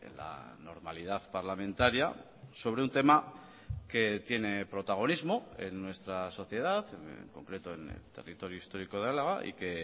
la normalidad parlamentaria sobre un tema que tiene protagonismo en nuestra sociedad en concreto en el territorio histórico de álava y que